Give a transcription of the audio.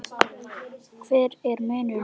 Hver er munurinn núna?